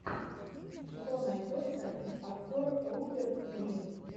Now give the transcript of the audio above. что найдется из актер руперт грин